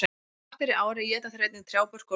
Ef hart er í ári éta þeir einnig trjábörk og lauf.